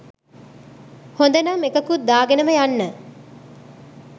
හොඳනම් එකකුත් දාගෙනම යන්න